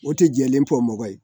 O tɛ jɛlen fɔ mɔgɔ ye